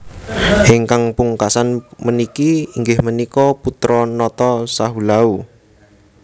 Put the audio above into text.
Ingkang pungkasan puniki inggih punika putra nata Sahulau